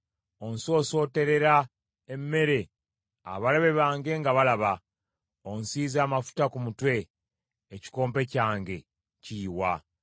Onsosootolera emmere abalabe bange nga balaba; onsiize amafuta ku mutwe, ekikompe kyange kiyiwa.